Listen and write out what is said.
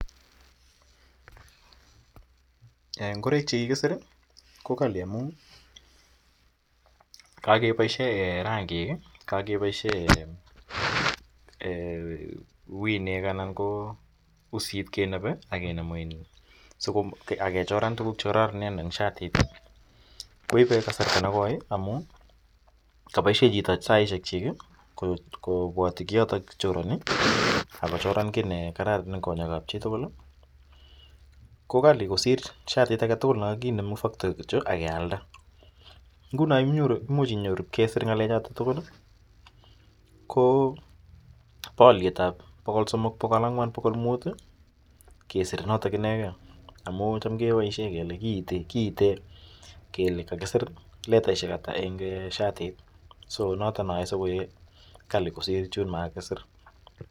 Ngoroik che kikisir ko kali amu kakepaishe rangik i, kakepaishe winek anan ko usit kenape ak kechoran tuguk che kararanen eng' shatit ko ite kasarta ne koi amu kapaishe chito saishekchik kopwati kioton chorani. Ako choran ki ne kararan eng' konyek ap chi tugul. Ko kali kosir shatit age tugul ne kakinem eng' faktori kityo ak kealda. Nguno imuchi inyoru ipkesir ng'alechotok tugul ko pa aliet pokol somok pokol ang'wan pokol. muht kesir notok ineteke, amu cham kepaishe kele, kiite letaishek ata eng' shatit. Ko notok ne yae koek kali kosir chun ma kisir.